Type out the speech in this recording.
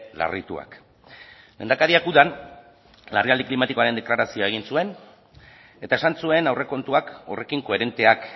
larrituak lehendakariak udan larrialdi klimatikoaren deklarazioa egin zuen eta esan zuen aurrekontuak horrekin koherenteak